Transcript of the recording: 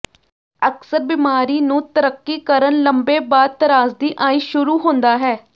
ਅਕਸਰ ਬਿਮਾਰੀ ਨੂੰ ਤਰੱਕੀ ਕਰਨ ਲੰਬੇ ਬਾਅਦ ਤਰਾਸਦੀ ਆਈ ਸ਼ੁਰੂ ਹੁੰਦਾ ਹੈ